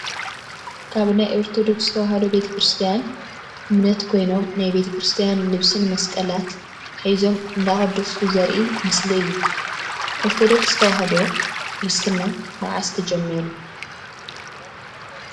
ካብ ናይ ኦርቶዶክስ ተዋህዶ ቤተ-ክርስትያን እምነት ኮይኖም ናይ ቤተ-ክርስትያን ልብስን መስቀላት ሒዞም እንዳቀደሱ ዘርኢ ምስሊ እዩ። ኦርቶደርስ ተዋህዶ (ክርስትና) መዓስ ተጀሚሩ?